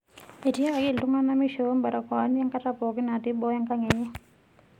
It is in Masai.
Etiakaki iltungana meishopo mbarakoani enkata pookin natii boo enkang enye.